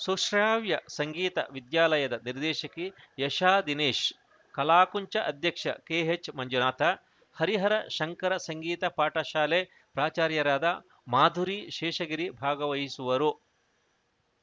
ಸುಶ್ರಾವ್ಯ ಸಂಗೀತ ವಿದ್ಯಾಲಯದ ನಿರ್ದೇಶಕಿ ಯಶಾದಿನೇಶ್‌ ಕಲಾಕುಂಚ ಅಧ್ಯಕ್ಷ ಕೆಎಚ್‌ಮಂಜುನಾಥ ಹರಿಹರ ಶಂಕರ ಸಂಗೀತ ಪಾಠಶಾಲೆ ಪ್ರಾಚಾರ್ಯರಾದ ಮಾಧುರಿ ಶೇಷಗಿರಿ ಭಾಗವಹಿಸುವರು